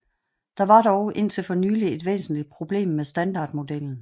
Der var dog indtil for nylig et væsentlig problem med standardmodellen